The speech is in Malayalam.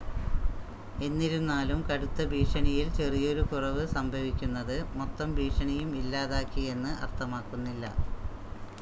"എന്നിരുന്നാലും, കടുത്ത ഭീഷണിയിൽ ചെറിയൊരു കുറവ് സംഭവിക്കുന്നത്, മൊത്തം ഭീഷണിയും ഇല്ലാതാക്കി എന്ന് അർത്ഥമാക്കുന്നില്ല."